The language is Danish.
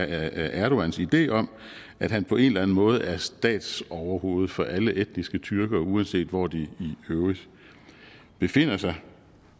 erdogans idé om at han på en eller en måde er statsoverhoved for alle etniske tyrkere uanset hvor de i øvrigt befinder sig